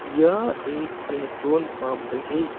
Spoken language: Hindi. यह एक पेट्रोल पंप है।